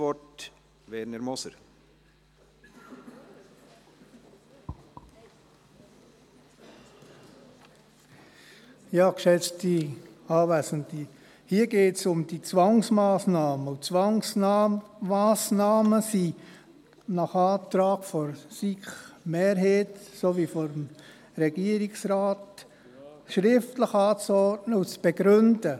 der SiK. Hier geht es um die Zwangsmassnahmen, und Zwangsmassnahmen sind nach dem Antrag von SiK-Mehrheit und Regierungsrat schriftlich anzuordnen und zu begründen.